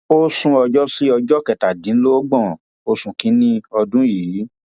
ó sún ẹjọ sí ọjọ kẹtàdínlọgbọn oṣù kìnínní ọdún yìí